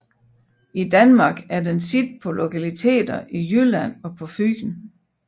I Danmark er den set på lokaliteter i Jylland og på Fyn